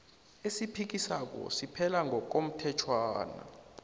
esiphikiswako siphela ngokomthetjhwana